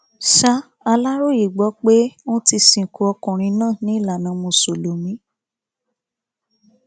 ṣà aláròye gbọ pé ọn ti sìnkú ọkùnrin náà ní ìlànà mùsùlùmí